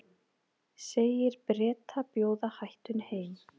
Segir Breta bjóða hættunni heim